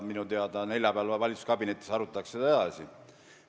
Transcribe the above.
Minu teada arutatakse neljapäeval valitsuskabinetis seda edasi.